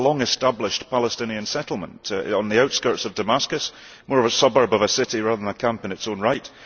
this is a long established Palestinian settlement on the outskirts of Damascus, more of a suburb of a city rather than a camp in its own right.